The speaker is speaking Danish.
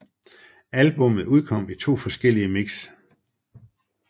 Albummet udkom i to forskellige mix